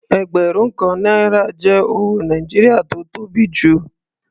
Ẹgbẹ̀rún kan náírà jẹ́ owó Nàìjíríà tó tó bi jù lọ.